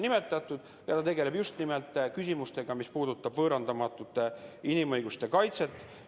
Ta tegeleb just nimelt küsimustega, mis puudutavad võõrandamatute inimõiguste kaitset.